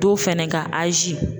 Don fɛnɛ ka